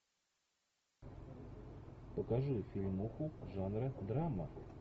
покажи фильмуху жанра драма